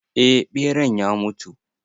Eh ɓeran ya mutu.